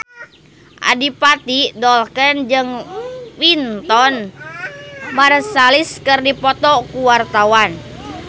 Adipati Dolken jeung Wynton Marsalis keur dipoto ku wartawan